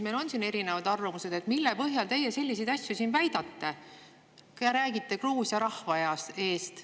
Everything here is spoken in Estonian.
Meil on siin erinevad arvamused, mille põhjal te selliseid asju väidate, kui te räägite Gruusia rahva eest.